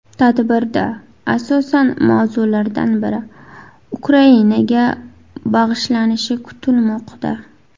Tadbirda asosiy mavzulardan biri Ukrainaga bag‘ishlanishi kutilmoqda.